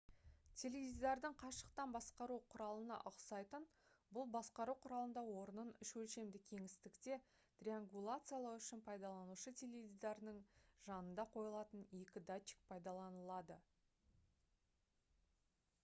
теледидардың қашықтан басқару құралына ұқсайтын бұл басқару құралында орнын үш өлшемді кеңістікте триангуляциялау үшін пайдаланушы теледидарының жанында қойылатын екі датчик пайдаланылады